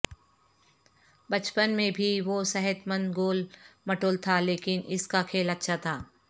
بچپن میں بھی وہ صحت مند گول مٹول تھا لیکن اس کا کھیل اچھا تھا